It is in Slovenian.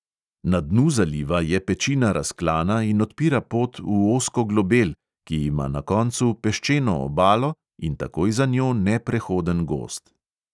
Na dnu zaliva je pečina razklana in odpira pot v ozko globel, ki ima na koncu peščeno obalo in takoj za njo neprehoden gozd.